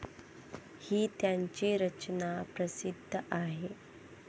ही त्यांची रचना प्रसिद्ध आहे.